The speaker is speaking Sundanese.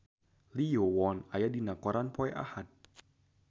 Lee Yo Won aya dina koran poe Ahad